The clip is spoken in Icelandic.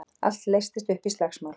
Allt leystist upp í slagsmál.